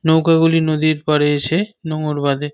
নৌকা গুলি নদীর পাড়ে এসে নোঙর বাঁধে।